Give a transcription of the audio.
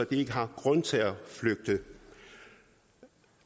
de ikke har grund til at flygte